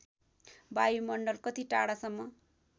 वायुमण्डल कति टाढासम्म